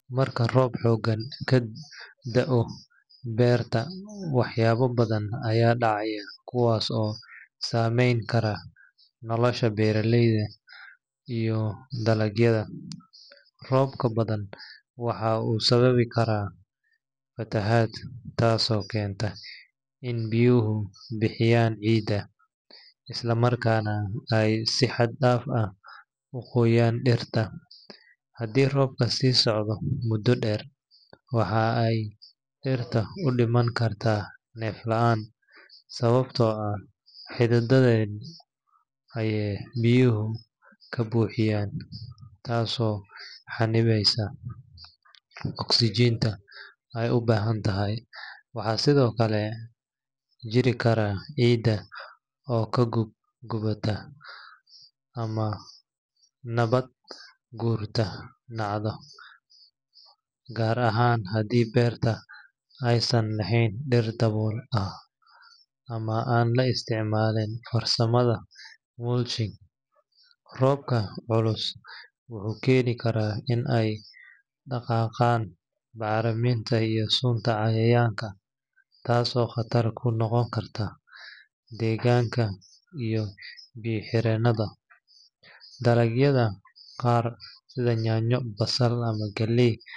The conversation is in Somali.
Marka roob xooggan ka da’o beerta, waxyaabo badan ayaa dhacaya kuwaas oo saamayn kara nolosha beeraleyda iyo dalagyada. Roobka badan waxa uu sababi karaa fatahaad, taasoo keenta in biyuhu buuxiyaan ciidda, isla markaana ay si xad dhaaf ah u qoyaan dhirta. Haddii roobka sii socdo muddo dheer, waxa ay dhirta u dhiman kartaa neef la’aan sababtoo ah xididdadeeda ayaa biyuhu ka buuxiya, taasoo xannibaysa oksijiinta ay u baahan tahay. Waxaa sidoo kale jiri kara ciidda oo ka gubata ama nabaad guurta dhacda, gaar ahaan haddii beertu aysan lahayn dhir dabool ah ama aan la isticmaalin farsamada mulching. Roobka culus wuxuu keeni karaa in ay dhaqaaqaan bacriminta iyo sunta cayayaanka, taasoo khatar ku noqon karta deegaanka iyo biyo-xireenada. Dalagyada qaar sida yaanyo, basal ama galley.